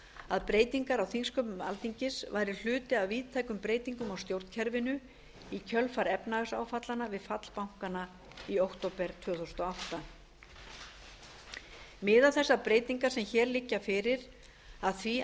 að breytingar á þingsköpum alþingis væru hluti af víðtækum breytingum á stjórnkerfinu í kjölfar efnahagsáfallanna við fall bankanna í október tvö þúsund og átta miða þessar breytingar sem hér liggja fyrir að því